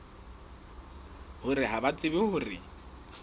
hore ha ba tsebe hore